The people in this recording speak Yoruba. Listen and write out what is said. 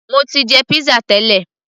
mo ti jẹ pizza tẹ́lẹ̀